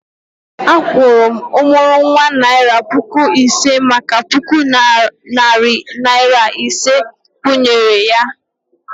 A kwuru m ọmụrụnwa naira puku ise maka puku narị naira ise nkwụnye ré